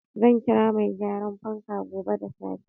Zan kira mai gyaran fanka gobe da safe.